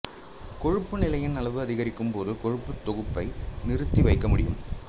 கொழுப்பு நிலையின் அளவு அதிகரிக்கும் போது கொழுப்புத் தொகுப்பை நிறுத்தி வைக்க முடியும்